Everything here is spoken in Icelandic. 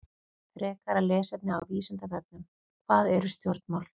Frekara lesefni á Vísindavefnum: Hvað eru stjórnmál?